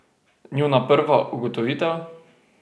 Njuna prva ugotovitev?